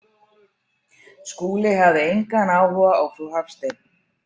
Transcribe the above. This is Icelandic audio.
Skúli hafði engan áhuga á frú Hafstein.